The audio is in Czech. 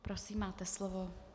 Prosím, máte slovo.